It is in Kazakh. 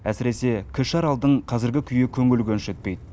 әсіресе кіші аралдың қазіргі күйі көңіл көншітпейді